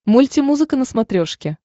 мульти музыка на смотрешке